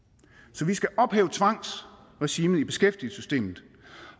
så vi skal ophæve tvangsregimet i beskæftigelsessystemet